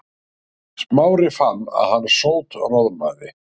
Smári fann að hann sótroðnaði.